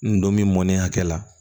N donni mɔnen hakɛ la